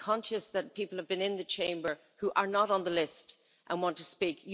I'm conscious that people have been in the Chamber who are not on the list and want to speak.